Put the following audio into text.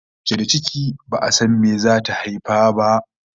Mace da ciki, ba'a san abin da zata haifa ba!